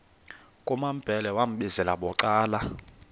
kumambhele wambizela bucala